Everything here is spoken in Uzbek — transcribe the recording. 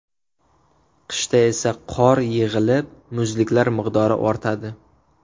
Qishda esa qor yig‘ilib, muzliklar miqdori ortadi.